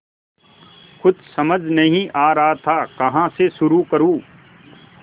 कुछ समझ नहीं आ रहा था कहाँ से शुरू करूँ